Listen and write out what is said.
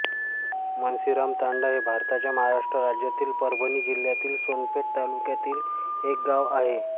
मनसीरामतांडा हे भारताच्या महाराष्ट्र राज्यातील परभणी जिल्ह्यातील सोनपेठ तालुक्यातील एक गाव आहे